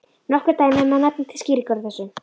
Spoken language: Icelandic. Nokkur dæmi má nefna til skýringar á þessu.